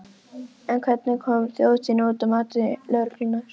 En hvernig kom þjóðhátíðin út, að mati lögreglunnar?